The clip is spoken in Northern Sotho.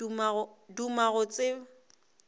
duma go tseba hlogo ya